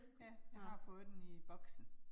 Ja, jeg har fået den i bosken